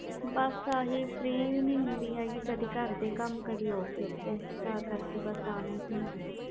ਬਸ ਏਹੀ free ਨਹੀਂ ਹੁੰਦੀ ਕਦੇ ਘਰ ਦੇ ਕਮ ਕਦੇ office ਦੇ ਅਨਾ ਹੀ ਨਹੀਂ ਹੋਇਆ